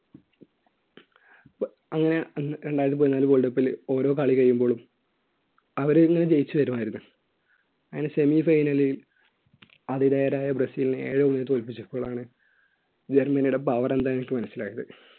അങ്ങനെ രണ്ടായിരത്തി പതിനാല് world cup ൽ ഓരോ കളി കഴിയുമ്പോൾ അവരിങ്ങനെ ജയിച്ചു വരുമായിരുന്നു അങ്ങനെ semi final ൽ ആതിഥേരായ ബ്രസീലിനെ ഏക goal ന് തോൽപ്പിച്ചപ്പോഴാണ് ജർമ്മനിയുടെ power എന്താണെന്ന് എനിക്ക് മനസ്സിലായത്